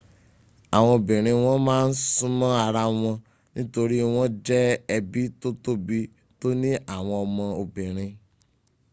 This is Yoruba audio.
àwọn obìnrin wọn ma ń súma ara wọn nítorí wọ́n jẹ́ ẹbí tó tóbi tóní àwọn ọmọ obìnri